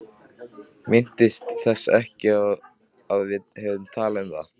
Minntist þess ekki að við hefðum talað um það.